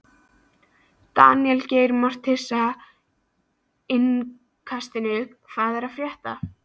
Daníel Geir Moritz, Innkastinu: Hvað er að frétta?